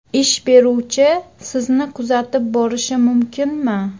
Ish beruvchi sizni kuzatib borishi mumkinmi?